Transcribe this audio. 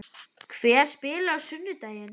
Hver spilar á sunnudaginn?